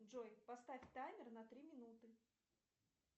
джой поставь таймер на три минуты